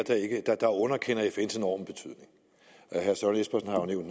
der underkender fns enorme betydning